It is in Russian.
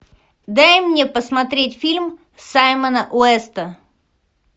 дай мне посмотреть фильм саймона уэста